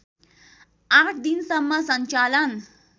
आठ दिनसम्म सञ्चालन